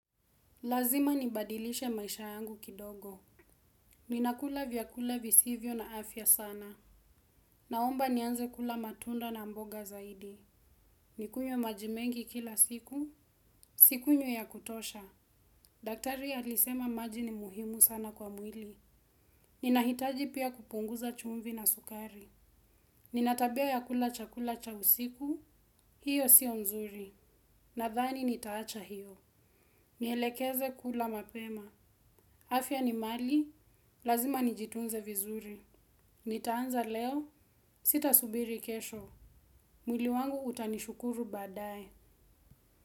Lazima nibadilishe maisha yangu kidogo. Ninakula vyakula visivyo na afya sana. Naomba nianze kula matunda na mboga zaidi. Nikunywe maji mengi kila siku. Sikunywi ya kutosha. Daktari alisema maji ni muhimu sana kwa mwili. Ninahitaji pia kupunguza chumvi na sukari. Nina tabia ya kula chakula cha usiku. Hiyo siyo nzuri. Nathani nitaacha hiyo. Nielekeze kula mapema. Afya ni mali. Lazima nijitunze vizuri. Nitaanza leo, sitasubiri kesho. Mwili wangu utanishukuru baadaye.